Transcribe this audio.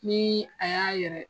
Nii a y'a yɛrɛ